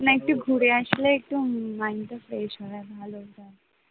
না একটু ঘুরে আয়, আসলে একটু mind fresh হয় আর ভালো হয়